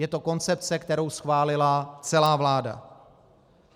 Je to koncepce, kterou schválila celá vláda.